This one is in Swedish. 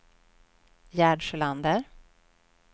Gerd Sjölander